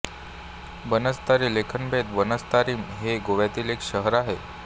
बनस्तारी लेखनभेद बनस्तारिम हे गोव्यातील एक शहर आहे